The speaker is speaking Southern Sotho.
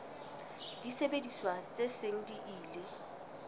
disebediswa tse seng di ile